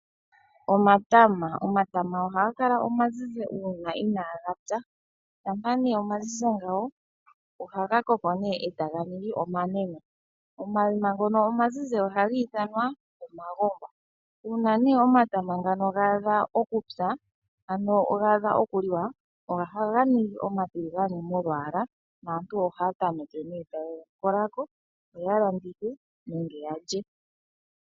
Omatama, omatama ohaga kala omazizi uuna inaaga pya. Shampa nee omazizi ngawi ohaga koko raga ningi omanene oma yima ngono omazizi ohaga ithanwa oma gongwa uuna nee omatama ngaano ga adha okupya ano gaadha okuliwa ohaga ningi omatiligane molwaala aantu ohaa tameke nee taye ga kola ko yo oya landitha nge ya lye.